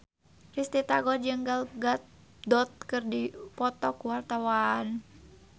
Risty Tagor jeung Gal Gadot keur dipoto ku wartawan